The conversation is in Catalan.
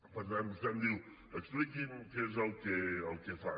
per tant vostè em diu expliqui’m què és el que fan